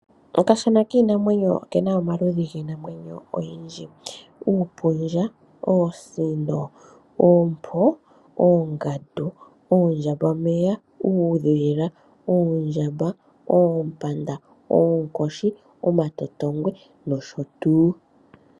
Okashana kiinamwenyo oke na omaludhi giinamwenyo ogendji mwa kwatelwa uupundja, oosino, oompo, oondjambameya, uudhila, oondjamba, oompanda, oonkoshi, omatotongwe nosho tuu.